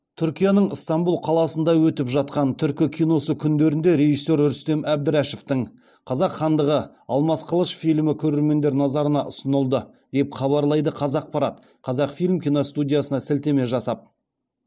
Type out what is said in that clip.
түркияның ыстанбұл қаласында өтіп жатқан түркі киносы күндерінде режиссер рүстем әбдірашевтің қазақ хандығы алмас қылыш фильмі көрермендер назарына ұсынылды деп хабарлайды қазақпарат қазақфильм киностудиясына сілтеме жасап